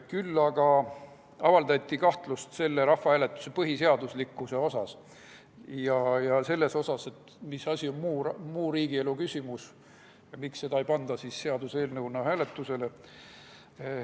Küll aga avaldati kahtlust selle rahvahääletuse põhiseaduslikkuse suhtes ja selle suhtes, mis asi on muu riigielu küsimus, ja küsiti, miks esitatavat küsimust ei panda seaduseelnõuna hääletusele.